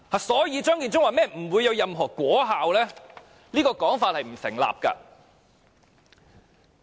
所以，張建宗說不會有任何果效，這說法並不成立。